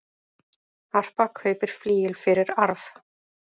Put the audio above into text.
Harpa kaupir flygil fyrir arf